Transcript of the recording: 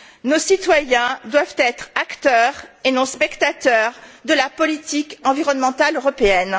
Nos citoyens doivent être acteurs et non spectateurs de la politique environnementale européenne.